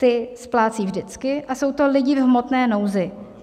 Ty splácejí vždycky a jsou to lidé v hmotné nouzi.